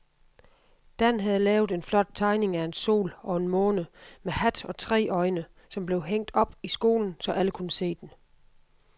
Dan havde lavet en flot tegning af en sol og en måne med hat og tre øjne, som blev hængt op i skolen, så alle kunne se den.